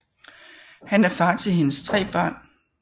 Han er far til hendes tre børn